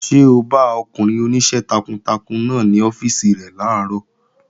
Ṣé o bá ọkùnrin oníṣẹ́ takuntakun náà ní ọ́fíìsì rẹ̀ làárọ̀?